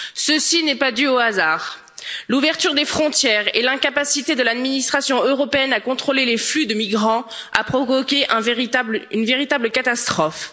Ceci n'est pas dû au hasard l'ouverture des frontières et l'incapacité de l'administration européenne à contrôler les flux de migrants a provoqué une véritable catastrophe.